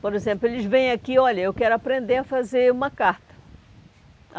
Por exemplo, eles vêm aqui, olha, eu quero aprender a fazer uma carta.